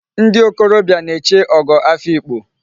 Ndi okorobia na-eche Ogo Afikpo